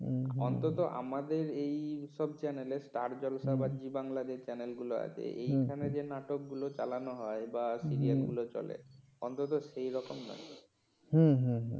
অন্তত আমাদের এইসব channal স্টার জলসা বা জি বাংলা যে channal গুলো আছে এখানে যে নাটকগুলো চালানো হয় বা serial গুলো চলে অন্তত সেই রকম নয় হুম হুম হুম।